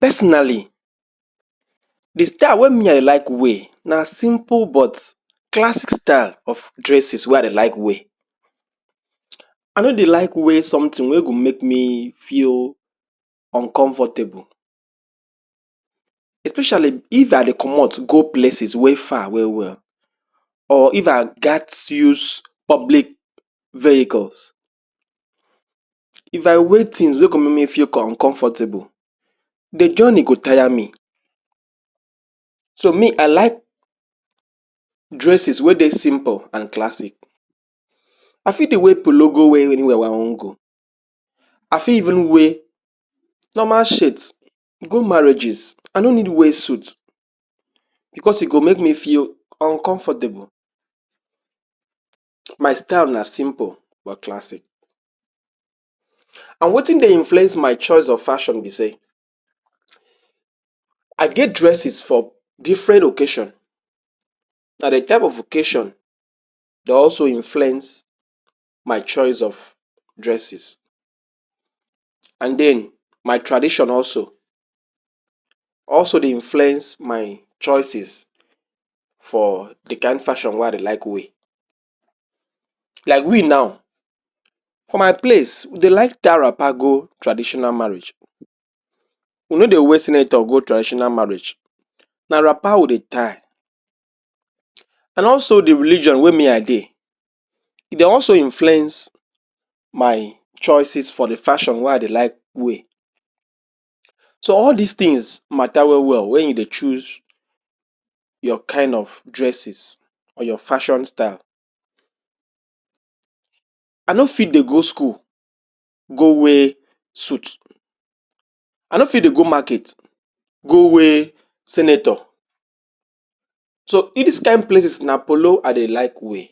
Personally, di style wey me I like wear na simple but classic style of dresses wey i de like wear. I no de like wear something wey go make me feel uncomfortable. Especially if i de commot go places wey far well-well, or if i got use public vehicles. If i wait things wey come make me feel uncomfortable, di journey go tire me. So me i like dresses wey dey simple and classic. I feel de wear Polo go anywhere i wan go, i feel even wear normal shirt. Go marriages, i no need wear suits because e go may make me feel uncomfortable my style na simple but classic. An wetin dey influence my choice of fashion be say, I get dresses for different occasion, na di type of occasion dey also influence my choice of dresses. An den my tradition also, also dey influence my choices for di kind fashion wey i de like wear. Like we now for my place, de like tie wrapper go traditional marriage, we no de wear senator go traditional marriage, na wrapper we dey tie. An also di religion wey me i dey, dey also influence my choices for di fashion wey i dey like wear. So all dis things matta well-well wen you de chose your kind of dresses or your fashion style. I no fit dey go school go wear suit, i no fit de go market go wear senator. So e dis kind places na Polo i dey like wear,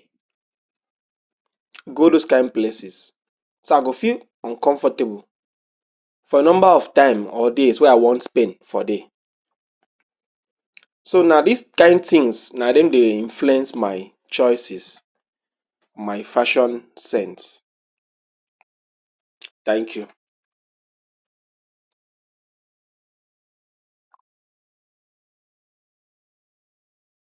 go dos kind places so i go feel uncomfortable for number of time or days wey i want spent for day. So, na dis kind things na dem dey influence my choices, my fashion scents. Thank you.